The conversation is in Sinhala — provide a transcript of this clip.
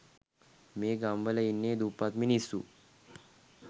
මේ ගම්වල ඉන්නේ දුප්පත් මිනිස්සු.